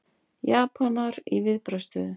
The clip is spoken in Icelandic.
Japanar í viðbragðsstöðu